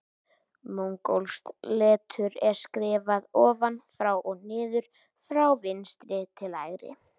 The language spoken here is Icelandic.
Mongólskt letur er skrifað ofan frá og niður frá vinstri til hægri.